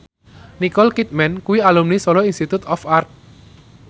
Nicole Kidman kuwi alumni Solo Institute of Art